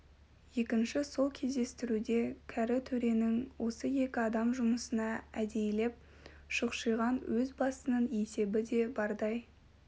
екінші сол кездестіруде кәрі төренің осы екі адам жұмысына әдейілеп шұқшиған өз басының есебі де бардай